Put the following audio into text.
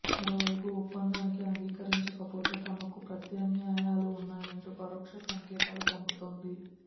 మరోవైపు ఒప్పందానికి అంగీకరించకపోతే తమకూ ప్రత్యామ్నాయాలు ఉన్నాయంటూ పరోక్ష సంకేతాలు పంపుతోంది